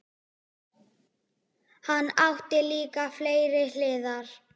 Hann átti líka fleiri hliðar.